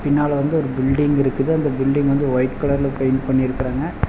பின்னால வந்து ஒரு பில்டிங் இருக்குது அந்த பில்டிங் வந்து ஒய்ட் கலர்ல பெயிண்ட் பண்ணி இருக்குறாங்க.